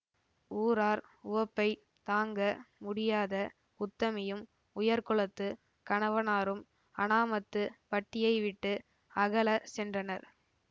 ஊரார் உவப்பைத் தாங்க முடியாத உத்தமியும் உயர்குலத்துக் கணவனாரும் அனாமத்து பட்டியைவிட்டு அகலச் சென்றனர்